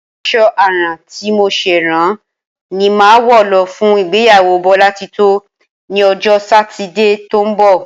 As̩o̩ àrán tí mo s̩è̩ rán ni màá wo̩ lo̩ fún ìgbéyàwó Bólátitó ní o̩jó̩ Sátidé tó ń bò̩